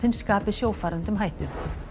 skapi sjófarendum hættu